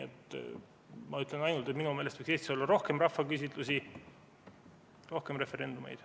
Ma ütlen ainult, et minu meelest võiks Eestis olla rohkem rahvaküsitlusi, rohkem referendumeid.